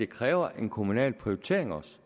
kræver en kommunal prioritering